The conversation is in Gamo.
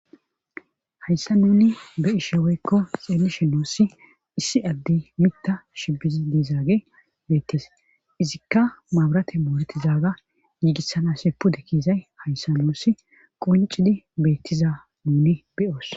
Hayssa nuni beyishe wyko xelishe deysi issi addey mita bola kryzagey bettes izikka babiratey moretidaga gisanas pude keydaga haysan nuni qoncidi be's